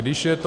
Když je to...